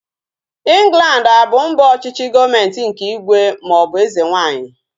Ịnglandi a bụ mba ọchịchị gọọmenti nke ígwè maọbụ eze nwaanyị?